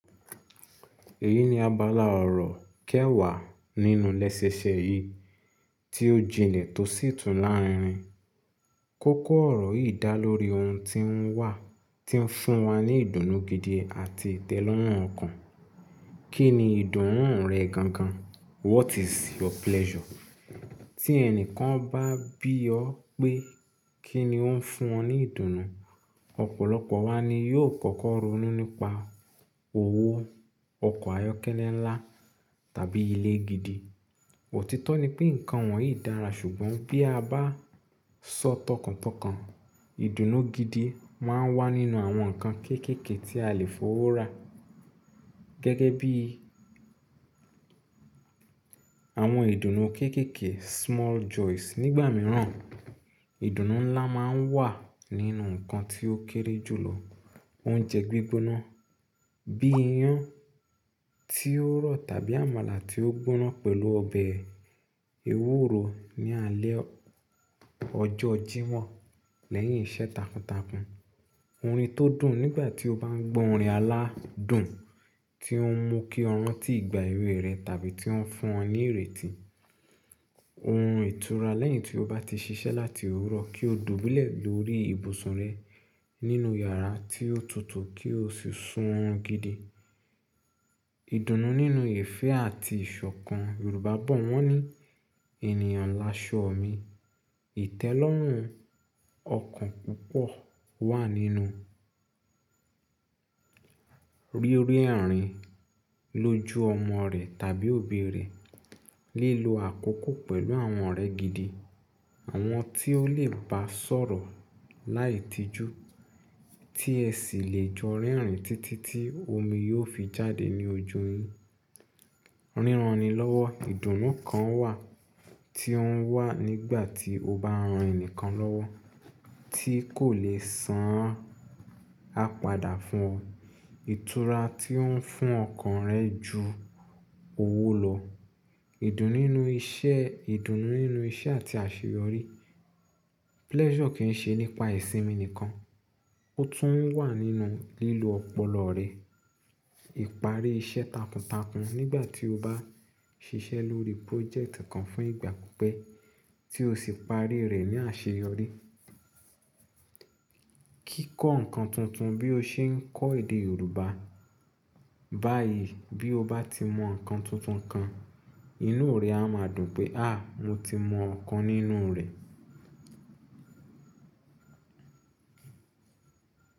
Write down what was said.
Èyí ni abala ọ̀rọ̀ kẹwàá nínú lẹ́sẹẹsẹ yìí tí ó jinlẹ̀ tó sì tún lárinrin. Kókó ọ̀rọ̀ yìí dá lórí ohun tí ń wà tí ń fún wa ní ìdùnnú gidi àti ìtẹ́lọ́rùn ọkàn. Kí ni ìdùnnú rẹ gan gan? What is your pleasure? Tí ẹni kan bá bí ọ pé kí ni ó ń fún ọ ní ìdùnnú, ọ̀pọ̀lọpọ̀ wa ni yóò kọ́kọ́ ronú nípa owó, ọkọ̀ ayọ́kẹ́lẹ́ ńlá tàbí ilé gidi. Òtítọ́ ni pé nǹkan wọ̀nyí dára ṣùgbọ́n bí a bá sọ tọkàntọkàn, ìdùnnú gidi máa ń wà nínú àwọn nǹkan kéékèèké tí a lè f'ówó rà. Gẹ́gẹ́ bí àwọn ìdùnnú kéékèèké small joys. Nígbà mìíràn, ìdùnnú ńlá máa ń wà nínú nǹkan tí ó kéré jùlọ. Oúnjẹ gbígbóná bí i iyán tí ó rọ̀ tàbí àmàlà tí ó gbóná pẹ̀lú ọbẹ̀ ewúro ní alẹ́ ọjọ́ Jímọ̀h lẹ́yìn iṣẹ́ takuntakun. Orin tó dùn nígbà tí o bá ń gbọ́ orin aládùn tí ó ń mú kí ọ ráǹtì igbà ewé rẹ tàbí tí ó ń fún ọ ní ìrètí. Orun ìtura lẹ́yìn tí o bá ti ṣiṣẹ́ láti òwúrọ̀ kí o dùbúlẹ̀ lórí ibùsùn rẹ nínú yàrá tí ó tutù kí o sì sún orun gidi. Ìdùnnú nínú ìfẹ́ àti ìṣọ̀kan. Yorùbá bọ̀ wọ́n ní "Ènìyàn laṣọ mi." Ìtẹ́lọ́rùn ọkàn púpọ̀ wà nínú ríri ààrín lójú ọmọ rẹ tàbí òbí rẹ. Lílo àkókò pẹ̀lú àwọn ọ̀rẹ́ gidi, àwọn tí ó lè bá sọ̀rọ̀ láì tijú tí ẹ sì lè jọ rerìn títí tí omi yóò fi jáde ní ojú yin. Ríran ni lọ́wọ́, ìdùnnú kan wà tí ó ń wà nígbà tí o bá ran ẹni kan lọ́wọ́ tí kò lè san á padà fún ọ. Ìtura tí ó ń fún ọkàn rẹ ju owó lọ. Ìdùnnú nínú iṣẹ́, ìdùnnú nínú iṣẹ́ àti àṣeyọrí. Pleasure kì ń ṣe nípa ìsinmi nìkan, ó tún wà nínú lílo ọpọlọ rẹ. Ìparí iṣẹ́ takuntakun nígbà tí o bá ṣiṣẹ́ lórí project kan fún ìgbà pípẹ́ tí o sì parí rẹ̀ ní àṣeyọrí. Kíkọ́ nǹkan tuntun bí o ṣe ń kọ́ èdè Yorùbá báyìí. Bí o bá ti mọ nǹkan tuntun kan, inú rẹ á máa dùn pé "àh, mo ti mọ ọ̀kan nínú rẹ̀."